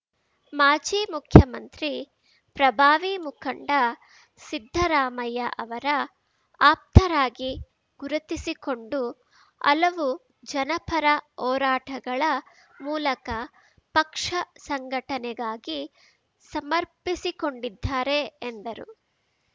ಮಾಜಿ ಮುಖ್ಯಮಂತ್ರಿ ಪ್ರಭಾವಿ ಮುಖಂಡ ಸಿದ್ದರಾಮಯ್ಯ ಅವರ ಆಪ್ತರಾಗಿ ಗುರುತಿಸಿಕೊಂಡು ಹಲವು ಜನಪರ ಹೋರಾಟಗಳ ಮೂಲಕ ಪಕ್ಷ ಸಂಘಟನೆಗಾಗಿ ಸಮರ್ಪಸಿಕೊಂಡಿದ್ದಾರೆ ಎಂದರು